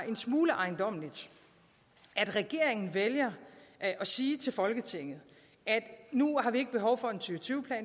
en smule ejendommeligt at regeringen vælger at sige til folketinget at nu har vi ikke behov for en to tusind og